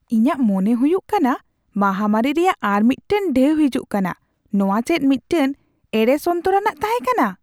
ᱤᱧᱟᱜ ᱢᱚᱱᱮ ᱦᱩᱭᱩᱜ ᱠᱟᱱᱟ ᱢᱟᱦᱟᱢᱟᱹᱨᱤ ᱨᱮᱭᱟᱜ ᱟᱨ ᱢᱤᱫᱴᱟᱝ ᱰᱷᱮᱣ ᱦᱤᱡᱩᱜ ᱠᱟᱱᱟ ᱾ ᱱᱚᱣᱟ ᱫᱚ ᱪᱮᱫ ᱢᱤᱫᱴᱟᱝ ᱮᱲᱮ ᱥᱚᱱᱛᱚᱨᱟᱱᱟᱜ ᱛᱟᱦᱮᱸᱠᱟᱱᱟ ?